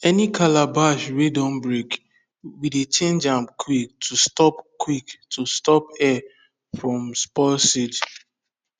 any calabash wey don break we dey change am quick to stop quick to stop air from spoil seed